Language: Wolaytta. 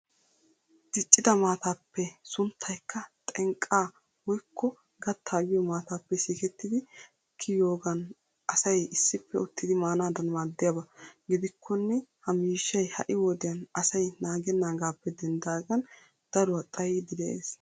Diccida maataappe sunttaykka xinqqaa woykko gaattaa giyo maataappe sikettidi kiyiyoogan asay issippe uttidi maanaadan maaddiyaba. Gidikkonne ha miishshay ha'i wodiyan asay naagennaagaappe denddaagan daruwa xayiiddi de'ees.